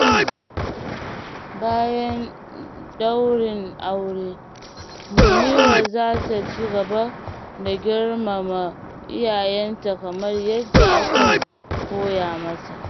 Bayan ɗaurin aure, Munira za ta ci gaba da girmama iyayenta kamar yadda aka koya mata.